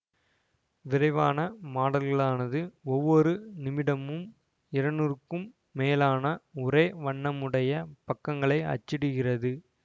விரைவான மாடல்களானது ஒவ்வொரு நிமிடமும் இருநூறுக்கும் மேலான ஒரே வண்ணமுடைய பக்கங்களை அச்சிடுகிறது